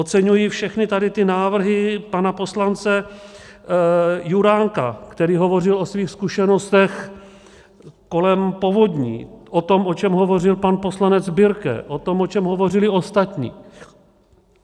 Oceňuji všechny tady ty návrhy pana poslance Juránka, který hovořil o svých zkušenostech kolem povodní, o tom, o čem hovořil pan poslanec Birke, o tom, o čem hovořili ostatní.